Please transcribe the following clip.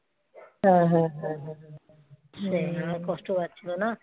হ্যাঁ হ্যাঁ হ্যাঁ সেই আমার কষ্ট পাচ্ছিল না